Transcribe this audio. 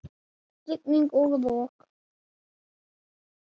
Rigning og rok!